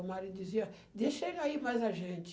O marido dizia, deixa ele aí mais a gente.